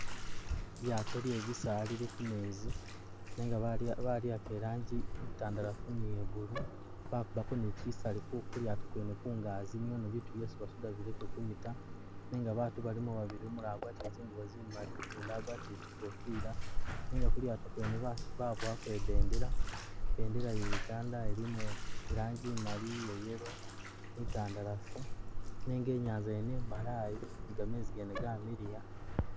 ilyato lye bisala lili khumezi nenga baliwakha iranji intandalafu ni iya’blue , bakubako ni kyisali kulyato kwene kungaji kwene niono bitu byesi basudile bileke kunyita ,nenga batu balimo babili umulala agwatile zingubo zimali ugundi agwatile kyikofira ,nenga kulyato kwene babowako ibendela ya ‘ Uganda ilimo ilanji imali, iya’ yellow ni itandalafu nenga Inyanza nyene imbalayi nigamezi gamiliya.